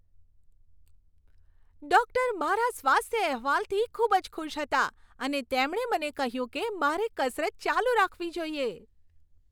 Doctor મારા સ્વાસ્થ્ય અહેવાલથી ખૂબ જ ખુશ હતા અને તેમણે મને કહ્યું કે મારે કસરત ચાલુ રાખવી જોઈએ.